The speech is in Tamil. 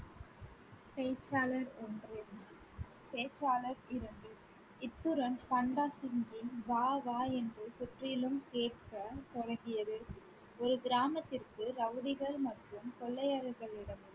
பேச்சாளர் ஒன்று பேச்சாளர் இரண்டு இத்துடன் பண்டா சிங்கின் வா வா என்று சுற்றிலும் கேட்கத் துவங்கியது. ஒரு கிராமத்திற்கு ரவுடிகள் மற்றும் கொள்ளையர்களிடம்